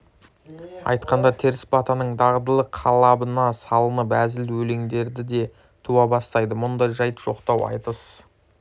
айтқанда теріс батаның дағдылы қалыбына салынып әзіл өлеңдер де туа бастайды мұндай жайт жоқтау айтыс